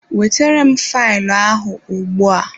Wetere m faịlụ ahụ ugbua!